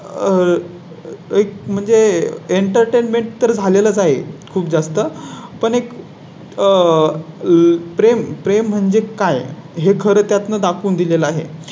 आह एक म्हणजे Entertainment तर झालेलाच आहे. खूप जास्त पण एक आह प्रेम प्रेम म्हणजे काय हे खरे. त्यातून दाखवून दिले ला आहे